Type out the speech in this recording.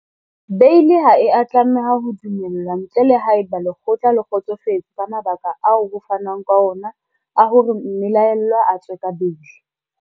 Beili ha e a tlameha ho dumellwa ntle le haeba lekgotla le kgotsofetse ke mabaka ao ho fanwang ka ona a hore mme laellwa a tswe ka beili.